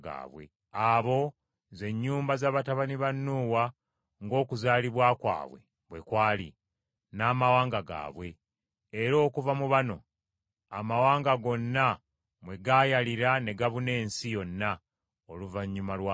Abo ze nnyumba za batabani ba Nuuwa ng’okuzaalibwa kwabwe bwe kwali, n’amawanga gaabwe; era okuva mu bano amawanga gonna mwe gaayalira ne gabuna ensi yonna oluvannyuma lw’amataba.